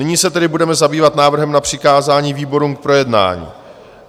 Nyní se tedy budeme zabývat návrhem na přikázání výborům k projednání.